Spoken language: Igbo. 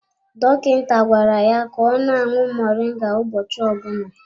Dọkịta gwara ya ka ọ na-aṅụ moringa ụbọchị ọbụna.